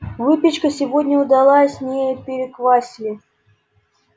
выпечка сегодня удалась не переквасили